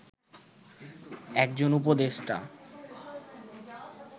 একজন উপদেষ্টা